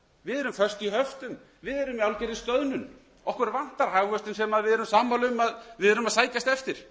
við erum föst í höftum við erum í algjörri stöðnun okkur vantar hagvöxtinn sem við erum sammála um að við sækjumst eftir